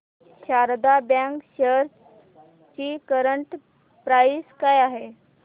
Sharda bank shares ची current price काय आहे